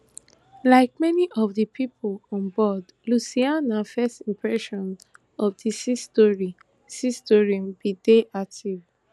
like many of di pipo on board lucianna first impressions of di sea story sea story bin dey positive